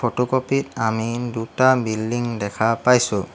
Photocopy ত আমি দুটা বিল্ডিঙ দেখা পাইছোঁ।